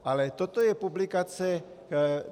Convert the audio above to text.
Ale toto je publikace.